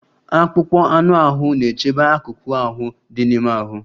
Akpụkpọ anụ ahụ na-echebe akụkụ ahụ dị n'ime ahụ.